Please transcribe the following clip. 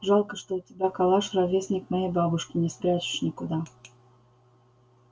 жалко что у тебя калаш ровесник моей бабушке не спрячешь никуда